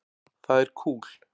Það er kúl.